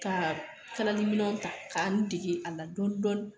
Ka kala di minɛw ta ka n dege a la dɔɔni dɔɔni.